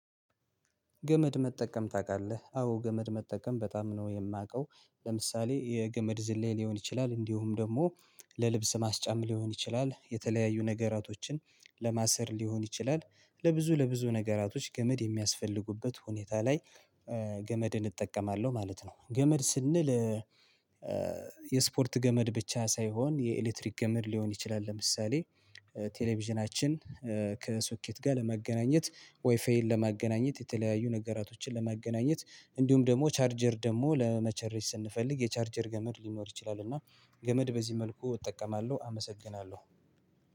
ገመድ መጠቀም ታውቃለህ አዎ ገመድ መጠቀም በጣም ነው የማውቀው ለምሳሌ የገመድ ዝላይ ሊሆን ይችላል እንዲሁም ደግሞ ለልብስ ማስጫም ሊሆን ይችላል የተለያዩ ነገራቶችን ለማሰር ሊሆን ይችላል ለብዙ ለብዙ ነገራቶች ገመድ የሚያስፈልጉበት ሁኔታ ላይ ገመድን እጠቀማለሁ ማለት ነው። ገመድ ስንል የስፖርት ገመድ ብቻ ሳይሆን የኤሌክትሪክ ገመድ ሊሆን ይችላል። ለምሳሌ ቴሌቪዥናችን ከሶኬት ጋር ለመገናኘት ዋይፍይን ለማገናኘት የተለያዩ ነገራቶችን ለማገናኘት እንዲሁም ደግሞ ቻርጀር ደግሞ ለመቸረጅ ስንፈልግ የቻርጀር ገመድ ሊኖር ይችላል። እና ገመድ በዚህ መልኩ እጠቀማለሁ አመሰግናለሁ።